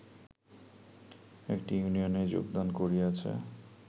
একটি ইউনিয়নে যোগদান করিয়াছে